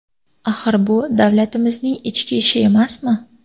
Axir bu davlatimizning ichki ishi emasmi?